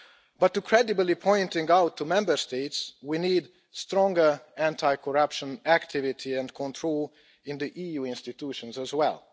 But to credibly pointing out to Member States, we need stronger anti corruption activity and control in the EU institutions as well.